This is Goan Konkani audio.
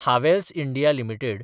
Havells India limited